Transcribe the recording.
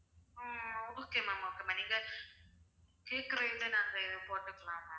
ஆஹ் okay ma'am okay ma'am நீங்க போட்டுக்கலாம் ma'am